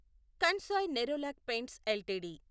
Kansai Nerolac paints LTD